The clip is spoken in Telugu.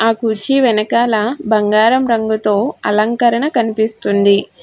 ఆ కుర్చీ వెనకాల బంగారం రంగుతో అలంకరణ కనిపిస్తుంది.